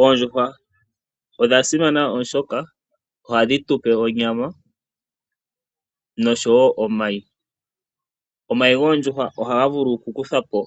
Oondjuhwa odha simana oshoka ohadhi tu pe onyama nosho wo omayi. Omayi goondjuhwa ohaga vulu okukuthwa po